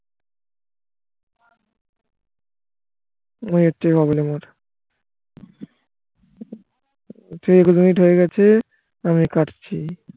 তিরিশ মিনিট হয় গেছে আমি কাটছি